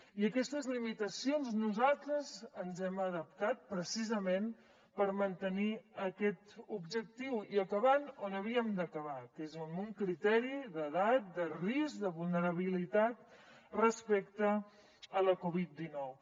i a aquestes limitacions nosaltres ens hem adaptat precisament per mantenir aquest objectiu i acabant on havíem d’acabar que és amb un criteri d’edat de risc de vulnerabilitat respecte la covid dinou